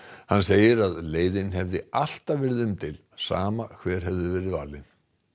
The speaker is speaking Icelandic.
hann segir að leiðin hefði alltaf verið umdeild sama hver hefði verið valin